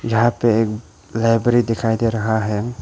यहां पे एक लाइब्रेरी दिखाई दे रहा है।